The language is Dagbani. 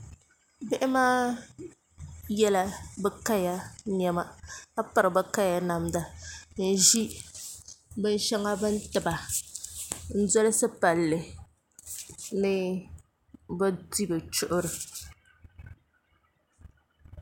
Bihi maa yɛla bi kaya niɛma ka piri bi kaya namda n ʒi binshɛŋa bi ni tiba n dolisi palli ni bi di bi chuɣuri